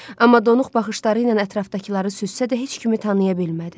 Amma donuq baxışları ilə ətrafdakıları süzsə də heç kimi tanıya bilmədi.